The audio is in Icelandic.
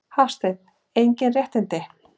Hafsteinn: Engin réttindi?